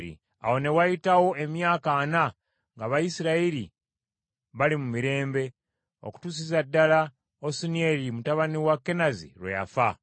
Awo ne wayitawo emyaka ana ng’Abayisirayiri bali mu mirembe okutuusa ddala Osunieri mutabani wa Kenazi lwe yafa.